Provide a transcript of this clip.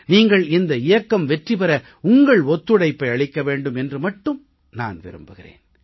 நீங்கள் இந்த இயக்கம் வெற்றி பெற உங்கள் ஒத்துழைப்பை அளிக்க வேண்டும் என்று மட்டும் நான் விரும்புகிறேன்